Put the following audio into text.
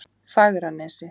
Fagranesi